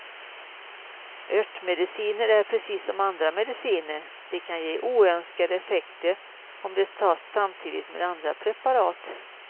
Örtmediciner är precis som andra mediciner, de kan ge oönskade effekter om de tas samtidigt med andra preparat.